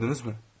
Gördünüzmü?